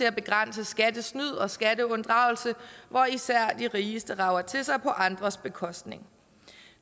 at begrænse skattesnyd og skatteunddragelse hvor især de rigeste rager til sig på andres bekostning